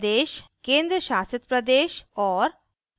प्रदेश/केंद्रशासितप्रदेश और